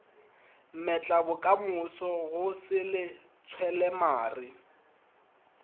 mmetlabokamoso go sele tshwela mare